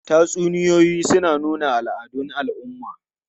Tatsuniyoyi suna nuna al'adun al'umma.